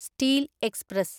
steel express